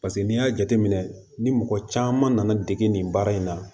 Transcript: Paseke n'i y'a jateminɛ ni mɔgɔ caman nana dege nin baara in na